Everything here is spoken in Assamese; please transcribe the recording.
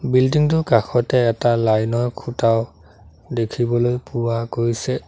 বিল্ডিং টোৰ কাষতে এটা লাইন ৰ খুঁটাও দেখিবলৈ পোৱা গৈছে।